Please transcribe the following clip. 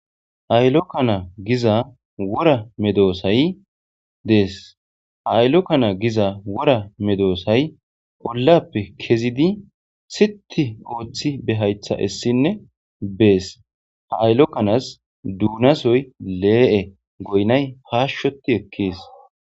Aylu kana giza wora medosay des aylu kana giza siiti ooththi ba hayththa esinne bees ha aylu kanas duunasoy lee'e goyinay paashoti eekes.